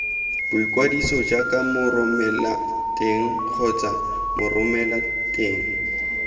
boikwadiso jaaka moromelateng kgotsa moromelateng